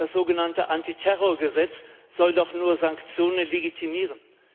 Das sogenannte Antiterrorgesetz soll doch nur Sanktionen legitimieren.